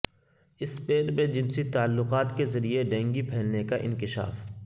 Spain میں جنسی تعلقات کے ذریعے ڈینگی پھیلنے کا انکشاف